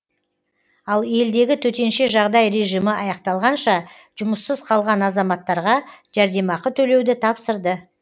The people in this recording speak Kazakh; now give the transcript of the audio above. ал елдегі төтенше жағдай режимі аяқталғанша жұмыссыз қалған азаматтарға жәрдемақы төлеуді тапсырды